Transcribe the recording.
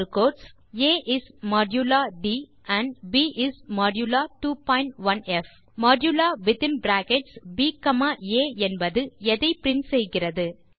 print a is modulo d and b is modulo 21ப் modulo within brackets b comma a என்பது எதை print செய்கிறது